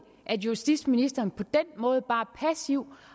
at justitsministeren på den måde bare passivt